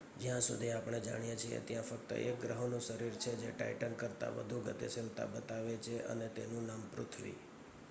જ્યાં સુધી આપણે જાણીએ છીએ ત્યાં ફક્ત એક ગ્રહોનું શરીર છે જે ટાઇટન કરતા વધુ ગતિશીલતા બતાવે, અને તેનું નામ પૃથ્વી